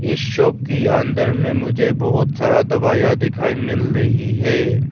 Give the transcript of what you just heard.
इस शॉप की अंदर में मुझे बहुत सारा दवाइयां दिखाई मिल रही है।